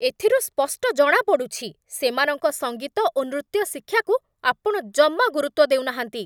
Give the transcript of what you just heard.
ଏଥିରୁ ସ୍ପଷ୍ଟ ଜଣାପଡ଼ୁଛି, ସେମାନଙ୍କ ସଙ୍ଗୀତ ଓ ନୃତ୍ୟ ଶିକ୍ଷାକୁ ଆପଣ ଜମା ଗୁରୁତ୍ଵ ଦେଉନାହାନ୍ତି।